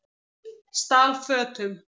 Stal fötum